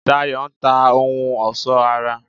Dayọ̀ n ta ohun ọ̀sọ́ ara